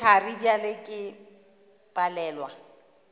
ke thari bjale ke palelwa